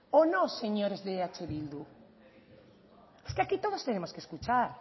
o no señores de eh bildu es que aquí todos tenemos que escuchar